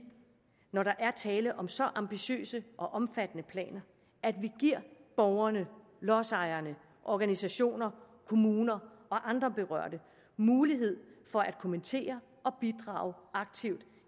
når der er tale om så ambitiøse og omfattende planer giver borgerne lodsejerne organisationerne kommunerne og andre berørte mulighed for at kommentere og bidrage aktivt